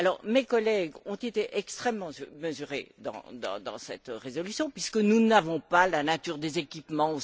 Mes collègues ont été extrêmement mesurés dans cette résolution, puisque nous n'avons pas la nature des équipements